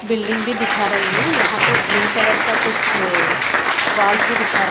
building भी दिखा रही है यहां तो ब्लू कलर का कुछ वॉल्स भी दिखा--